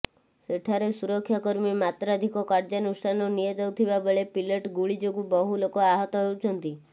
ସେଠାରେ ସୁରକ୍ଷାକର୍ମୀ ମାତ୍ରାଧିକ କାର୍ଯ୍ୟାନୁଷ୍ଠାନ ନିଆଯାଉଥିବା ବେଳେ ପିଲେଟ୍ ଗୁଳି ଯୋଗୁଁ ବହୁ ଲୋକ ଆହତ ହେଉଛନ୍ତି